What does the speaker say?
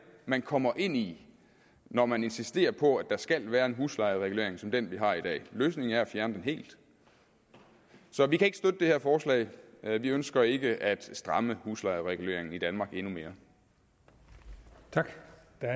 man kommer ind i når man insisterer på at der skal være en huslejeregulering som den vi har i dag løsningen er at fjerne den helt vi kan ikke støtte det her forslag vi ønsker ikke at stramme huslejereguleringen i danmark endnu mere tak